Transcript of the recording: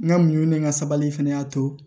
N ka muɲu ni n ka sabali fana y'a to